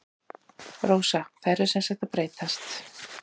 Rósa: Þær eru sem sagt að breytast?